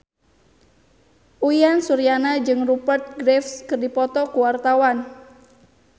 Uyan Suryana jeung Rupert Graves keur dipoto ku wartawan